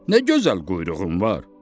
Nə gözəl quyruğun var?